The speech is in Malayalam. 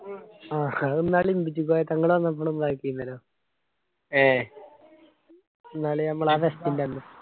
ആഹ് അതെന്നല് ഇമ്പിച്ചി കോയ തങ്ങള് വന്നപ്പോളും ആകിയിരുന്നല്ലോ ന്നാല് നമ്മളെ ആ fest ൻ്റെ അന്ന്